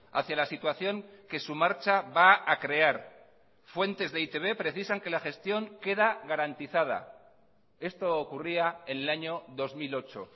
hacia la situación que su marcha va a crear fuentes de e i te be precisan que la gestión queda garantizada esto ocurría en el año dos mil ocho